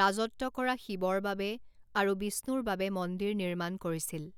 ৰাজত্ব কৰা শিৱৰ বাবে আৰু বিষ্ণুৰ বাবে মন্দিৰ নিৰ্মাণ কৰিছিল।